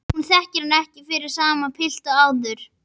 Hún þekkir hann ekki fyrir sama pilt og áður.